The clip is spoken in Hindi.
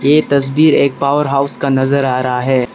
यह तस्वीर एक पावर हाउस का नजर आ रहा है।